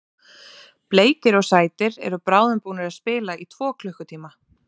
Bleikir og sætir eru bráðum búnir að spila í tvo klukkutíma.